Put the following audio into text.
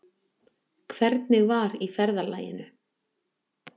Hvernig var í ferðalaginu?